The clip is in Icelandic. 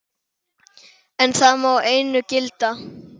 En það má einu gilda.